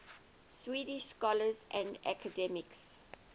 swedish scholars and academics